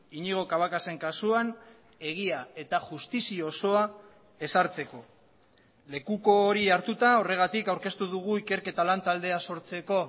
iñigo cabacasen kasuan egia eta justizia osoa ezartzeko lekuko hori hartuta horregatik aurkeztu dugu ikerketa lantaldea sortzeko